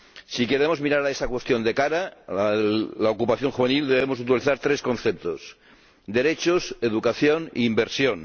Si queremos mirar a esa cuestión de cara —la ocupación juvenil—, debemos utilizar tres conceptos derechos, educación e inversión.